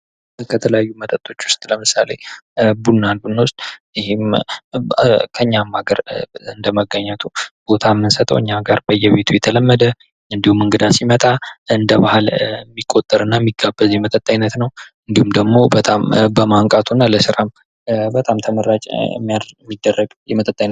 ከተለያዩ መጠጦች ውስጥ ለምሳሌ ቡና ብንወስድ ይህም በኛም ሀገር እንደመገኘቱ ቦታው የምንሰጠው በጣም እንግዳ ሲመጥ የሚቆጠር እና እንደመቆጣጠር የሚጠጣ አይነት ነው እንዲሁም በጣም በማቅቱ በጣም ተመራጭ የሚደረግ የመጠጥ አይነት ነው።